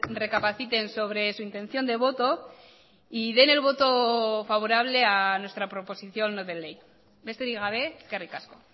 recapaciten sobre su intención de voto y den el voto favorable a nuestra proposición no de ley besterik gabe eskerrik asko